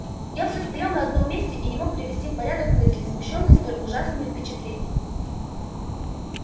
я всё стоял на одном месте и не мог привести в порядок мысли смущённые столь ужасными впечатлениями